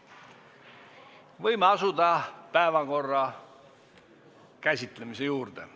Võime asuda päevakorrapunktide käsitlemise juurde.